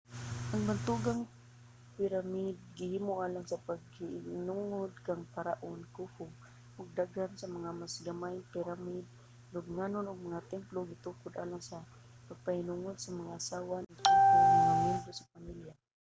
ang bantugang piramide gihimo alang sa pagpahinungod kang paraon khufu ug daghan sa mga mas gamay nga piramide lubnganan ug mga templo gitukod alang sa pagpahinungod sa mga asawa ni khufu ug mga miyembro sa pamilya